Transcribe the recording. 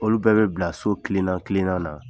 Olu bɛɛ bɛ bila so kilenna kilenna na